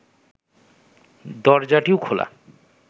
দরজাটিও খোলা